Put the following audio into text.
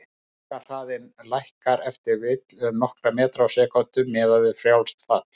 Lokahraðinn lækkar ef til vill um nokkra metra á sekúndu, miðað við frjálst fall.